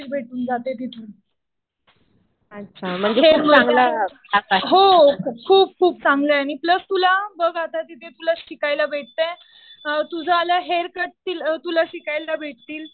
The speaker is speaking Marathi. नॉलेज भेटून जाते तिथे हेअरमध्ये . हो. खूप खूप चांगला आहे. आणि प्लस तुला बघ आता तिथे प्लस शिकायला भेटतंय. तुला हेअर कट शिकायला भेटेल.